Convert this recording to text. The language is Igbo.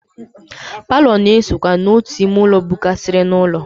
Paalọ na-esokwa n'otu ime ụlọ bụkarịsịrị n'ụlọ.